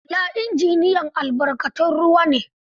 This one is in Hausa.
Ola injiniyan albarkatun ruwa ne.